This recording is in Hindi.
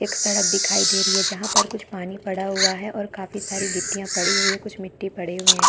एक सड़क दिखाई दे रही है जहाँ पर कुछ पानी पड़ा हुआ है और काफी सारे गिट्टियां पड़ी हुई है कुछ मिट्टी पड़े हुए है।